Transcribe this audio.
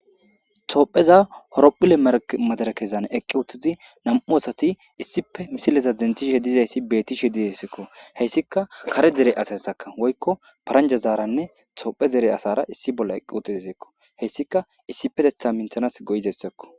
toopheza horophule mar madarakezan eqqi uttizi nam7u asati issipe misileza dentishe dizayssi bettishe dihesekko heyssika kare dere asasakka woykko paranja zaaranne toophe dere asara issi bolla eqqi utiziseekko heyssika issipetetha minthanas go7izessakko